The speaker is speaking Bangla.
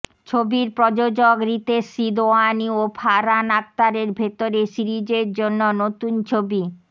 ছবির প্রযোজক রিতেশ সিদওয়ানি ও ফারহান আখতারের ভেতরে সিরিজের জন্য নতুন ছবি